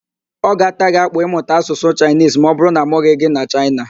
Ọ ga-ata gị akpụ ịmụta Asụsụ Chaịnisi ma ọbụrụ na amụghị gị na mba Chaịna